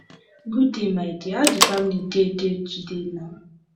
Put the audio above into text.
good day my dear how the family dey dey today na